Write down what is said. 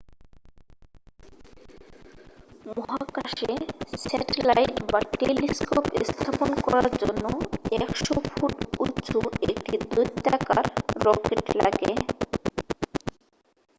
মহাকাশে স্যাটেলাইট বা টেলিস্কোপ স্থাপন করার জন্য 100 ফুট উঁচু একটি দৈত্যাকার রকেট লাগে